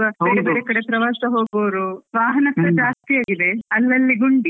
ಕಡೆ ಪ್ರವಾಸ ಹೋಗುವವ್ರು, ಕೂಡ ಜಾಸ್ತಿ ಆಗಿದೆ, ಅಲ್ಲಲ್ಲಿ ಗುಂಡಿ.